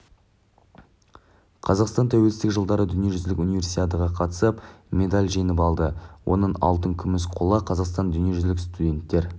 қазақстан тәуелсіздік жылдары дүниежүзілік универсиадаға қатысып медаль жеңіп алды оның алтын күміс қола қазақстанның дүниежүзілік студенттер